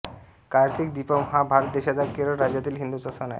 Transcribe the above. कार्तिक दीपम् हा भारत देशाच्या केरळ राज्यातील हिंदूंचा सण आहे